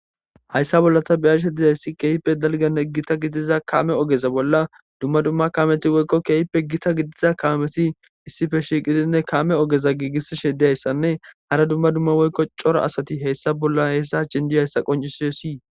hayssa bolla ta beyashe dizayssi keeyppe dalganne gita gidiza kame ogeza bolla dumma dumma kaameti woykko keeyippe gita gidiza kaameti issife shiiqidinne kame ogeza giigissishe diyayssanne hara dumma dumma woykko cora asati heyssa bolla heyssa jindi hayssa qoncisisii